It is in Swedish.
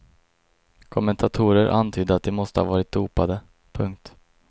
Kommentatorer antydde att de måste ha varit dopade. punkt